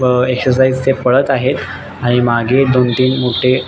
अ exercise ते पळत आहेत आणि मागे दोन तीन मोठे--